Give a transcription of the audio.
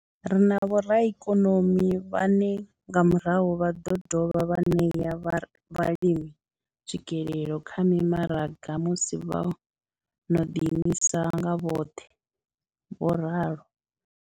Ri na vhoraikonomi vhane nga murahu vha ḓo dovha vha ṋea vhalimi tswikelelo kha mimaraga musi vho no ḓi imisa nga vhoṱhe, vho ralo.